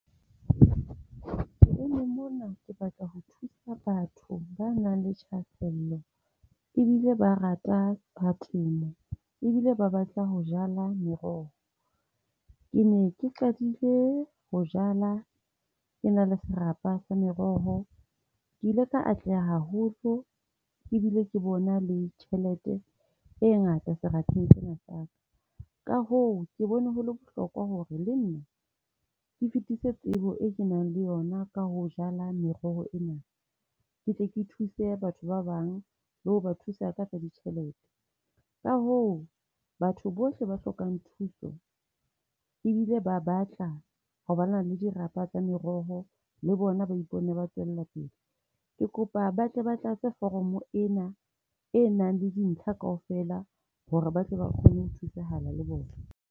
Ke eme mona ke batla ho thusa batho ba nang le thahasello ebile ba rata ka temo. E bile ba batla jala meroho. Ke ne ke qadile ho jala, ke na le serapa sa meroho. Ke ile ka atleha haholo ebile ke bona le tjhelete e ngata serapeng sena sa ka. Ka hoo ke bone ho le bohlokwa hore le nna ke fetise tsebo eo kenang le yona ka ho jala meroho ena. Ke tle ke thuse batho ba bang le ho ba thusa ka tsa ditjhelete. Ka hoo batho bohle ba hlokang thuso ebile ba batla ho ba na le dirapa tsa meroho le bona ba ipone ba tswella pele, ke kopa batle ba tlatse foromo ena e nang le dintlha kaofela hore ba tle ba kgone ho thusahala le bona.